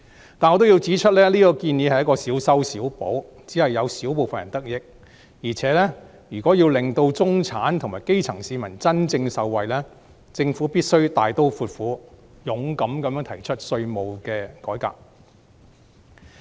然而，我也要指出，這項建議也只是小修小補，只有小部分人得益；況且，如果要令到中產及基層市民真正受惠，政府必須大刀闊斧，勇敢地提出稅制改革。